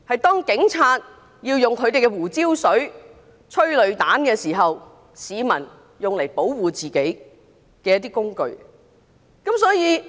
當警察噴胡椒水、射催淚彈時，用來保護自己的工具。